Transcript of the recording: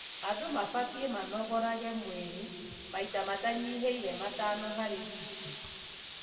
Andũ mabatie manogorage mwĩri maita matanyihĩĩre matano harĩ wiki.